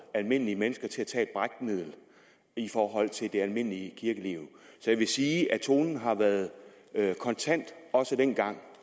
almindelige mennesker til at tage et brækmiddel i forhold til det almindelige kirkeliv så jeg vil sige at tonen har været kontant også dengang